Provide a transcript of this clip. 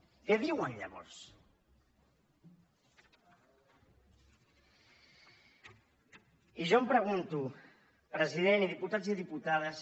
què diuen llavors i jo em pregunto president i diputats i diputades